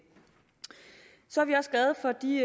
så er vi også glade for de